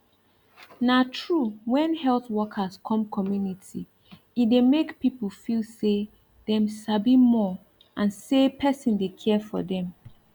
na true when health workers come community e dey make people feel say dem sabi more and say person dey care for dem